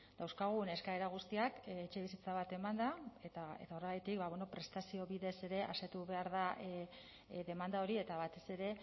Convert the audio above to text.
dauzkagun eskaera guztiak etxebizitza bat emanda eta horregatik prestazio bidez ere asetu behar da demanda hori eta batez ere